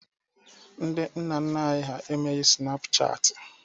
Ndị nna nna anyị ha emeghi sịnapụ chaatị.